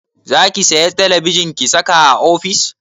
Zaki saya talabijin ki saka a ofis?